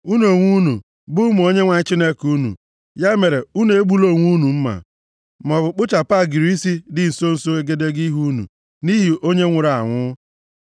Unu onwe unu bụ ụmụ Onyenwe anyị Chineke unu, ya mere unu egbula onwe unu mma, maọbụ kpụchapụ agịrị isi dị nso nso egedege ihu unu nʼihi onye nwụrụ anwụ. + 14:1 Ihe ndị a bụ usoro mmemme iru ụjụ nke ndị na-eme omenaala. \+xt Lev 19:27-28\+xt*